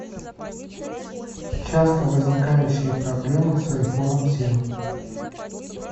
часто возникающие проблемы с айфоном семь